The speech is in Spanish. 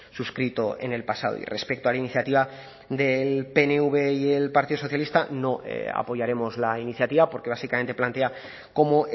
suscrito en el pasado y respecto a la iniciativa del pnv y el partido socialista no apoyaremos la iniciativa porque básicamente plantea como